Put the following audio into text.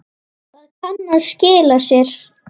Það kann að skila sér.